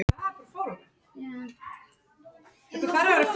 Hugmyndafræðin er mögnuð og staðurinn frábær